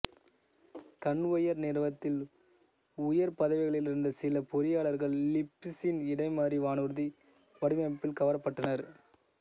conveyor நிறுவனத்தில் உயர் பதவிகளிலிருந்த சில பொறியாளர்கள் லிப்பிச்சின் இடைமறி வானூர்தி வடிவமைப்பில் கவரப்பட்டனர்